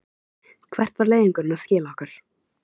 Hvert var leiðangurinn að skila okkur?